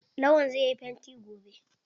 Lawan zai yi fanti gobe.